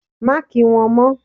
Má kí wọn mó!